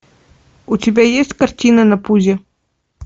у тебя есть картина на пузе